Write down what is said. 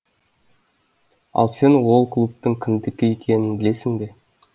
ал сен ол клубтың кімдікі екенін білесің бе